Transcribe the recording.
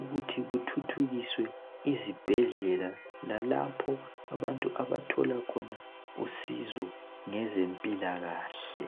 ukuthi kuthuthukiswe izibhedlela lalapho abantu abathola khona usizo ngezempilakahle.